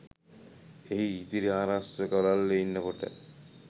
එහි ඉදිරි ආරක්ෂක වළල්ලේ ඉන්නකොට